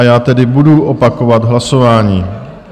A já tedy budu opakovat hlasování.